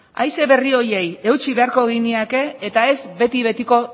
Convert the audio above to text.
haize berri horiei eutsi beharko genieke eta ez beti betiko